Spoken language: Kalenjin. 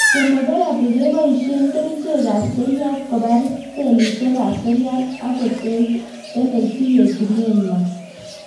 Chemotherapy koboisien kerichek ab seriat kobar sellishek ab seriat agotelelsi yetunet nywan